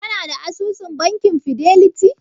Kana da asusun bankin fideliti?